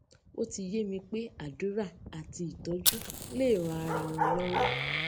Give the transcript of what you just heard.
ó ti yé mi pé àdúrà àti ìtójú leè ran ara wọn lọwọ